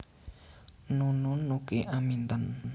Nunun Nuki Aminten